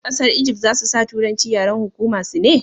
ƙasar Ijift za su sa turanci yaren hukuma su ne?